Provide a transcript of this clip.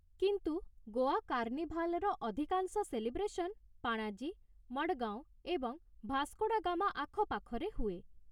କିନ୍ତୁ ଗୋଆ କାର୍ଣ୍ଣିଭାଲ୍‌ର ଅଧିକାଂଶ ସେଲିବ୍ରେସନ୍ ପାଣାଜୀ, ମଡ଼ଗାଓଁ ଏବଂ ଭାସ୍କୋଡାଗାମା ଆଖପାଖରେ ହୁଏ ।